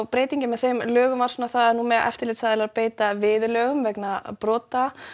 breytingin með þeim lögum var að nú mega eftirlitsaðilar beita viðurlögum vegna brota